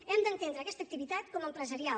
hem d’entendre aquesta activitat com a empresarial